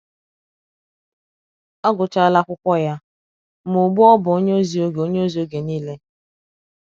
Ọ gụchaala akwụkwọ ya, ma ugbu a ọ bụ onye ozi oge onye ozi oge nile.